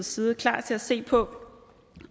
side klar til at se på